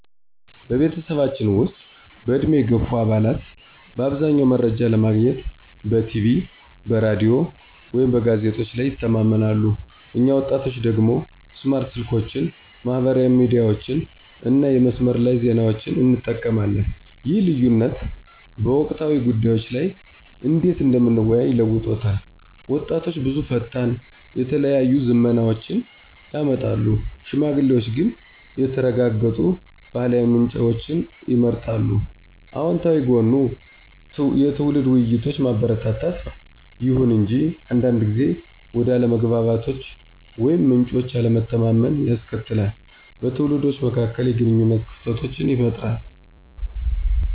በቤተሰባችን ውስጥ፣ በዕድሜ የገፉ አባላት በአብዛኛው መረጃ ለማግኘት በቲቪ፣ በራዲዮ ወይም በጋዜጦች ላይ ይተማመናሉ፣ እኛ ወጣቶቹ ደግሞ ስማርት ስልኮችን፣ ማህበራዊ ሚዲያዎችን እና የመስመር ላይ ዜናዎችን እንጠቀማለን። ይህ ልዩነት በወቅታዊ ጉዳዮች ላይ እንዴት እንደምንወያይ ለውጦታል— ወጣቶች ብዙ ፈጣን፣ የተለያዩ ዝመናዎችን ያመጣሉ፣ ሽማግሌዎች ግን የተረጋገጡ ባህላዊ ምንጮችን ይመርጣሉ። አወንታዊ ጎኑ የትውልድ ውይይቶችን ማበረታታት ነው። ይሁን እንጂ አንዳንድ ጊዜ ወደ አለመግባባቶች ወይም ምንጮች አለመተማመንን ያስከትላል, በትውልዶች መካከል የግንኙነት ክፍተቶችን ይፈጥራል.